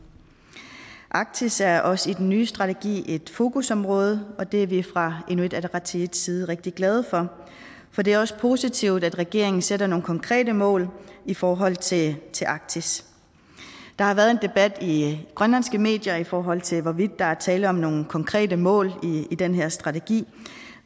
arktis er også i den nye strategi et fokusområde og det er vi fra inuit ataqatigiits side rigtig glade for for det er også positivt at regeringen sætter nogle konkrete mål i forhold til til arktis der har været en debat i de grønlandske medier i forhold til hvorvidt der er tale om nogle konkrete mål i den her strategi